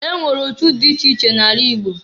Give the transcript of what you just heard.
E nwere otu di iche iche na-ala Igbo.